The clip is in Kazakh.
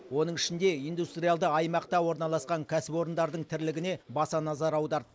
оның ішінде индустриалды аймақта орналасқан кәсіпорындардың тірлігіне баса назар аударды